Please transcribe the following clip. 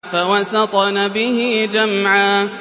فَوَسَطْنَ بِهِ جَمْعًا